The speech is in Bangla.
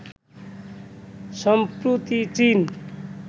সম্প্রতি চীন